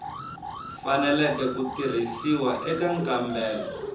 faneleke ku tirhisiwa eka nkambelo